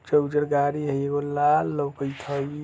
उजर-उजर गाड़ी हई एगो लाल लउकत हई।